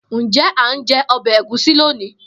Njẹ a njẹ ọbẹ Egusi loni?